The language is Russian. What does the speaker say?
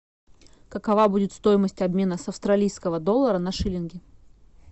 какова будет стоимость обмена с австралийского доллара на шиллинги